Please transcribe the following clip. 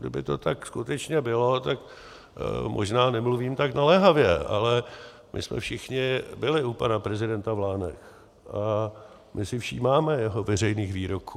Kdyby to tak skutečně bylo, tak možná nemluvím tak naléhavě, ale my jsme všichni byli u pana prezidenta v Lánech a my si všímáme jeho veřejných výroků.